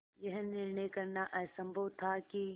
यह निर्णय करना असम्भव था कि